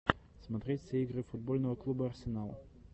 смотреть все игры футбольного клуба арсенал